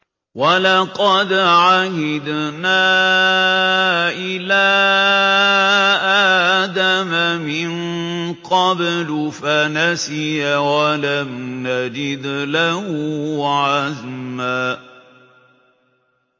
وَلَقَدْ عَهِدْنَا إِلَىٰ آدَمَ مِن قَبْلُ فَنَسِيَ وَلَمْ نَجِدْ لَهُ عَزْمًا